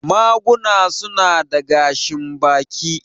Maguna su na da gashin baki.